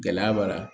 Gɛlɛya b'a la